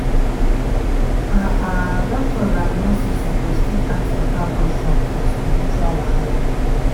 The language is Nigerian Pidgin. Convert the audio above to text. ah ah doctors and nurses suppose fit ask beta questions for spiritual wahala.